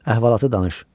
Əhvalatı danış.